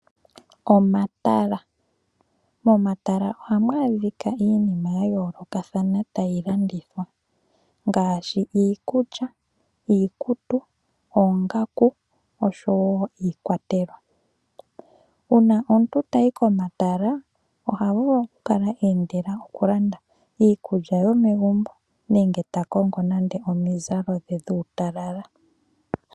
Omatala Momatala ohamu adhika iinima ya yoolokathana tayi landithwa ngaashi iikulya, iikutu, oongaku oshowo iikwatelwa. Uuna omuntu tayi komatala oha vulu okukala eendela okulanda iikulya yomegumbo nenge ta kongo nande omizalo dhe dhuutalala.